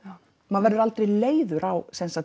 maður verður aldrei leiður á